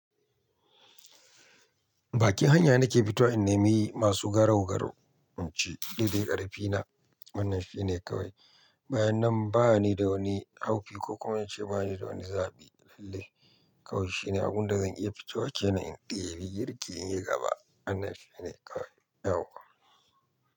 Bakin hanya nake fitowa, in nemi masu garau-garau, in ci, Daidai ƙarfi na, wannan shine kawai.” Bayan nan, ba ni da wani haufi, ko kuma in ce ba ni da wani zaɓi, lalle. Kawai shine, abun da zan iya fito wa ke na in ɗebi girki in yi gaba. Wannan shine kawai, yauwa.